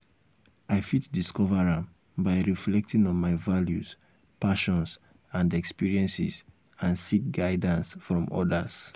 how you fit balance di pursuit of happiness with di meaning of life?